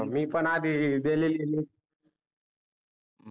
मी पन आधी दिलेली आहे NEET